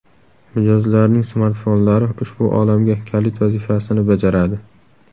Mijozlarning smartfonlari ushbu olamga kalit vazifasini bajaradi.